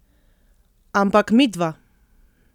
Ampak midva!